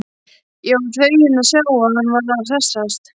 Ég var feginn að sjá að hann var að hressast!